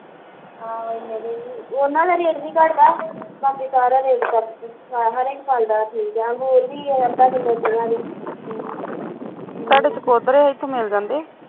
ਆਹੋ ਏਨੇ ਦੇ ਈ ਉਹਨਾਂ ਦਾ ਰੇਟ ਨੀ ਘਟਦਾ ਬਾਕੀ ਸਾਰਾ ਰੇਟ ਅੰਗੂਰ ਵੀ ਅੱਧਾ ਕਿਲੋ ਪੰਜਾਹ ਦੇ ਹਮ